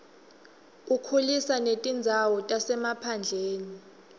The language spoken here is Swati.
ukhulisa netindzawo tasemaphandleni